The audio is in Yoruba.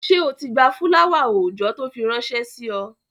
Ṣé o ti gba fúláwà-oòjọ́ tó fi ránṣẹ́ sí ọ?